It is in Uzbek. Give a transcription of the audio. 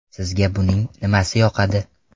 Sizga buning nimasi yoqadi?